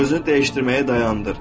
Özünü dəyişdirməyi dayandır.